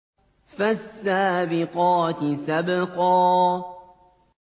فَالسَّابِقَاتِ سَبْقًا